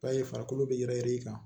Ta ye farikolo be yɛrɛ i kan